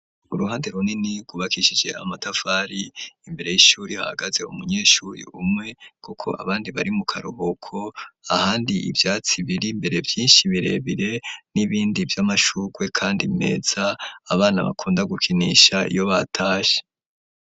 Uruhande runini rubakishije amatafari imbere y'ishuri hagaze hu munyeshuri umwe, kuko abandi bari mu karuboko ahandi ivyatsi biri mbere vyinshi birebire n'ibindi vy'amashukwe, kandi meza abana bakunda gukinisha iyo batashe.